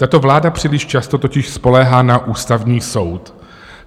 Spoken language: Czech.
Tato vláda příliš často totiž spoléhá na Ústavní soud.